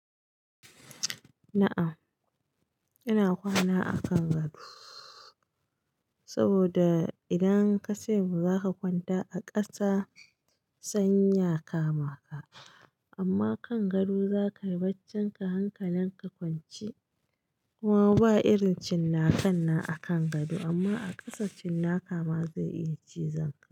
Na'am, ina kwana a kan gado saboda idan ka ce mu za ka kwanta a ƙasa sanyi ya kama ka, amma kan gado za ka yi baccinka hankalin ka kwanci. Kuma ba irin cinnaka na akan gado amma a ƙasa cinnaka ma zai iya cizon ka.